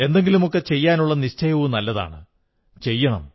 എന്തെങ്കിലുമൊക്കെ ചെയ്യാനുള്ള നിശ്ചയവും നല്ലതാണ് ചെയ്യണം